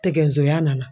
Tɛguya nana